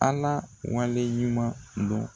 Ala wale ɲuman dɔn.